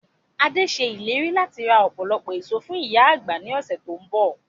Adé ṣe ìlérí láti ra ọpọlọpọ èso fún ìyá àgbà ni ọ̀sẹ̀ to ń bọ̀.